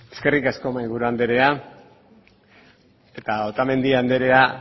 eskerrik asko mahaiburu anderea otamendi anderea